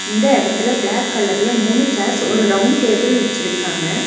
இந்த எடத்துல ப்ளாக் கலர்ல மூணு சேர்ஸ் ஒரு ரவுண்ட் டேபிள் வெச்சுருக்காங்க.